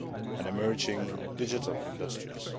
and emerging digital industries.